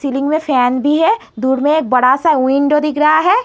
में फैन भी है। दूर में एक बड़ा-सा विंडो दिख रहा है।